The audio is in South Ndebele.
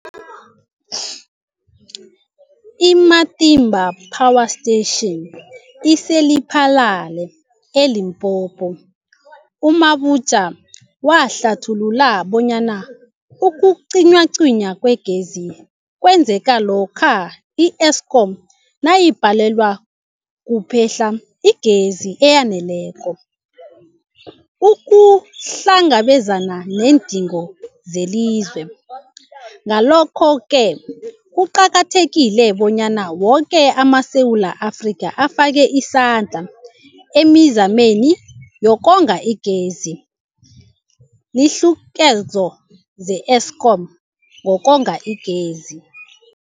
I-Matimba Power Station ise-Lephalale, eLimpopo. U-Mabotja wahlathulula bonyana ukucinywacinywa kwegezi kwenzeka lokha i-Eskom nayibhalelwa kuphe-hla igezi eyaneleko ukuhlangabezana neendingo zelizwe. Ngalokho-ke kuqakathekile bonyana woke amaSewula Afrika afake isandla emizameni yokonga igezi. Iinluleko ze-Eskom ngokonga igezi.